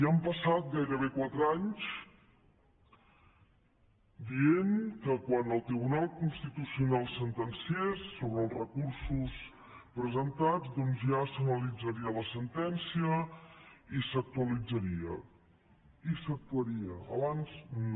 i han passat gairebé quatre anys dient que quan el tribunal constitucional sentenciés sobre els recursos presentats ja s’analitzaria la sentència i s’actuaria abans no